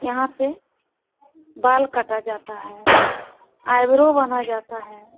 यहाँ पे बाल काटा जाता है आईब्रो बना जाता है।